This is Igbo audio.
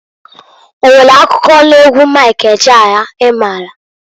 O nwere akụkọ n'egwu Mik Ejeaya i maalụ?